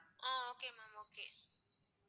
ah okay mam okay